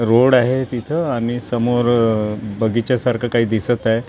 Road आहे तिथं आणि समोर बगीच्या सारखं काही दिसत आहे.